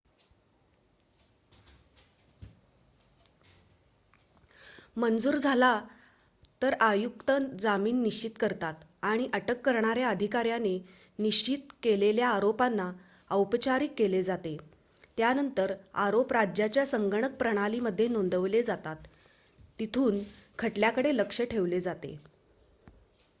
मंजूर झाला तर आयुक्त जामीन निश्चित करतात आणि अटक करणाऱ्या अधिकाऱ्याने निश्चित केलेल्या आरोपांना औपचारीक केले जाते त्यानंतर आरोप राज्याच्या संगणक प्रणालीमध्ये नोंदवले जातात तिथून खटल्याकडे लक्ष ठेवले जाते